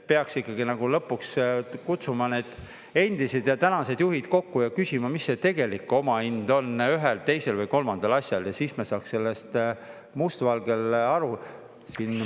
Peaks ikkagi lõpuks kutsuma need endised ja tänased juhid kokku ja küsima, mis see tegelik omahind on ühel, teisel või kolmandal asjal, ja siis me saaksime sellest must valgel aru.